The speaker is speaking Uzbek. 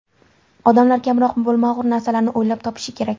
Odamlar kamroq bo‘lmag‘ur narsalarni o‘ylab topishi kerak.